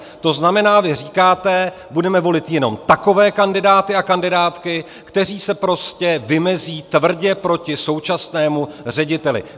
To znamená, vy říkáte: budeme volit jen takové kandidáty a kandidátky, kteří se prostě vymezí tvrdě proti současnému řediteli.